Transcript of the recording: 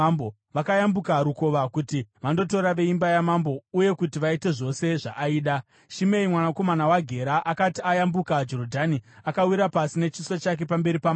Vakayambuka rukova kuti vandotora veimba yamambo uye kuti vaite zvose zvaaida. Shimei mwanakomana waGera akati ayambuka Jorodhani, akawira pasi nechiso chake pamberi pamambo